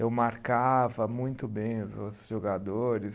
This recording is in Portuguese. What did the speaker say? Eu marcava muito bem os outros jogadores.